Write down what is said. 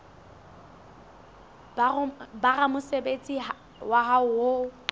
ba ramosebetsi wa hao ho